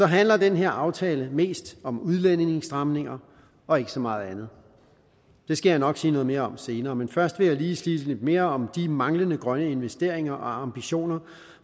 handler den her aftale mest om udlændingestramninger og ikke så meget andet det skal jeg nok sige noget mere om senere men først vil jeg lige sige lidt mere om de manglende grønne investeringer og ambitioner